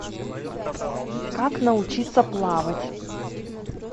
как научиться плавать